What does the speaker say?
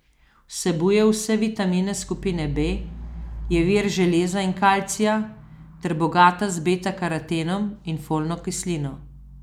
Vsebuje vse vitamine skupine B, je vir železa in kalcija, ter bogata z beta karotenom in folno kislino.